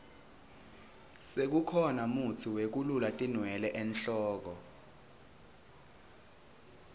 sekukhona mutsi wekulula tinwele enhloko